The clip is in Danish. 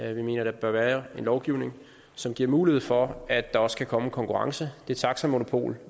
vi mener der bør være en lovgivning som giver mulighed for at der også kan komme konkurrence det taxamonopol